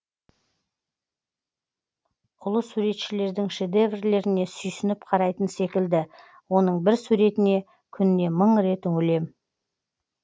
ұлы суретшілердің шедеверлеріне сүйсініп қарайтын секілді оның бір суретіне күніне мың рет үңілем